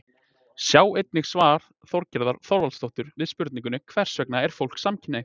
Sjá einnig svar Þorgerðar Þorvaldsdóttur við spurningunni Hversvegna er fólk samkynhneigt?